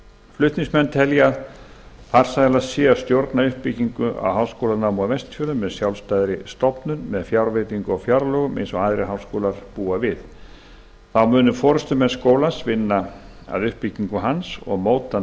flutningsmenn telja að farsælast sé að stjórna uppbyggingu á háskólanámi á vestfjörðum með sjálfstæðri stofnun með fjárveitingu á fjárlögum eins og aðrir háskólar búa við þá munu forustumenn skólans vinna að uppbyggingu hans og móta